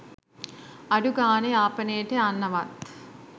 අඩුගාණේ යාපනේට යන්නවත්